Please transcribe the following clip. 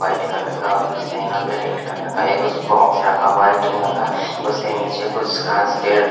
white colour का office है यहा पे रेड कलर का एक कुच्छ बॉक्स रखा हुआ है जो यहा का उसके निचे कुछ गास पेड़--